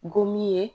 Gomin ye